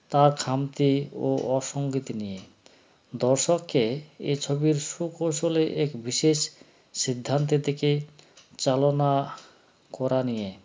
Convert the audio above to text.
তার খামতি ও অসঙ্গিত নিয়ে দর্শককে এছবির সুকৌশলে এক বিশেষ সিদ্ধান্তে থেকে চালনা করা নিয়ে